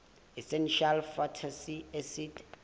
essential fatty acids